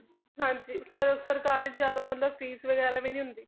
ਹਾਂਜੀ ਸਰ~ ਸਰਕਾਰੀ 'ਚ ਜ਼ਿਆਦਾ ਮਤਲਬ fees ਵਗ਼ੈਰਾ ਵੀ ਨੀ ਹੁੰਦੀ